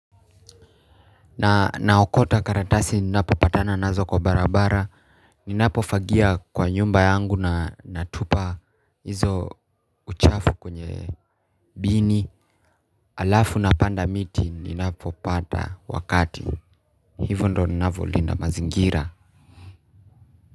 Naokota karatasi ninapopatana nazo kwa barabara. Ninapofagia kwa nyumba yangu na natupa hizo uchafu kwenye bini. Alafu napanda miti ninapopata wakati. Hivyo ndo ninavolinda mazingira.